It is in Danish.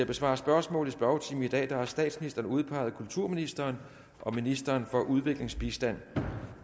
besvare spørgsmål i spørgetimen i dag har statsministeren udpeget kulturministeren og ministeren for udviklingsbistand jeg